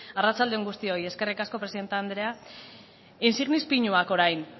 arratsalde on guztioi eskerrik asko presidente andrea insignis pinuak orain